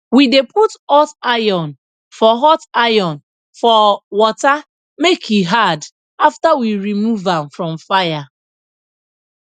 we dey put hot iron for hot iron for water make e hard after we rmove am from fire